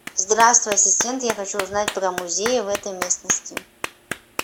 здравствуй ассистент я хочу узнать про музеи в этой местности